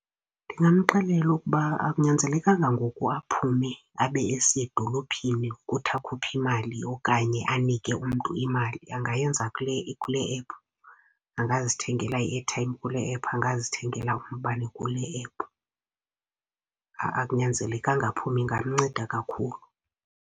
Ndingamxelela ukuba akunyanzelekanga ngoku aphume abe esiya edolophini ukuthi akhuphe imali okanye anike umntu imali, angayenza kule kule app. Angazithengela i-airtime kule app, angazithengela umbane kule app, akunyanzelekanga aphume. Ingamnceda kakhulu.